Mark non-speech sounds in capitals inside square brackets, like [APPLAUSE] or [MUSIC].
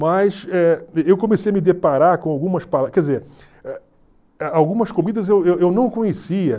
Mas eh eu comecei a me deparar com algumas [UNINTELLIGIBLE] quer dizer, algumas comidas eu eu não conhecia.